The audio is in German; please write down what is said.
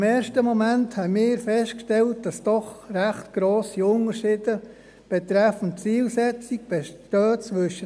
Im ersten Moment haben wir festgestellt, dass zwischen der JVS und dem Masterplan doch recht grosse Unterschiede betreffend Zielsetzungen bestehen.